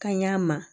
Kanɲɛ ma